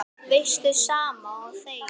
Veistu, sama og þegið.